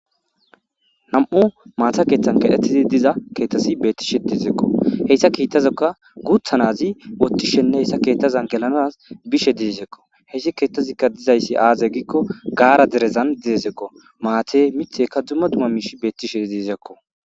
Nam7u maata keethan keexetdi dizay beettishe de7ettesiko , hessa keethazan guutha naazi oottishenne hessa keettszan gelanas bishe deesko, hessi keettazi aaze giiko gaara derezan deesiko ,maati miththiyika dumma dumma miishshati dizaysako.